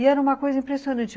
E era uma coisa impressionante.